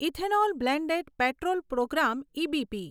ethanol blended petrol programme EBP